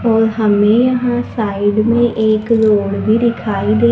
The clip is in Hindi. और हमें यहाँ साइड में एक रोड भी दिखाई दे--